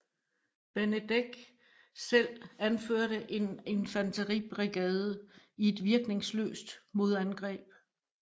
Benedek selv anførte en infanteribrigade i et virkningsløst modangreb